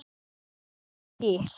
Hvað þarf til?